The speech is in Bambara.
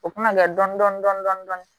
O kun bɛ kɛ dɔni dɔni dɔni dɔni dɔni